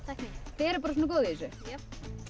þið erum bara svona góð í þessu já